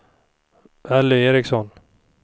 Elly Eriksson